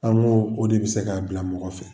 An ko de bɛ se k'a bila mɔgɔ fɛ.